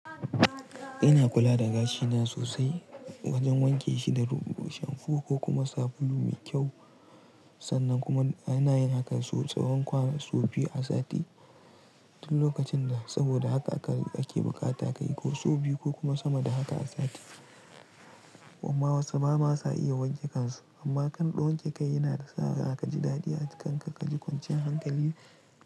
Ina kula da gashina sosai wajen wanke shi da ruho, shamfu ko kuma sabulu mai kyau. Sannan kuma ana yin hakan sau tsahon kwana sau biyu a sati. Duk lokacin da saboda haka ake bukata ka yi sau biyu ko kuma sama da haka a sati. Amma wasu ba ma su iya wanke kansu, amma kana wanke kai yana sa ka ji daɗi a kanka ka ji kwancin hankali.